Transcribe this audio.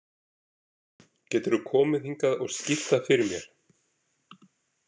Geturðu komið hingað og skýrt það fyrir mér?